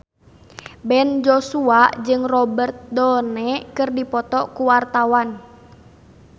Ben Joshua jeung Robert Downey keur dipoto ku wartawan